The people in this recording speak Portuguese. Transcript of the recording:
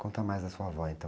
Conta mais da sua avó, então.